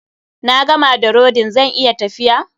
Na gama da rodin, zan iya tafiya?